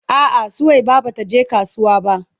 A'a Suwaiba bata je kasuwa ba.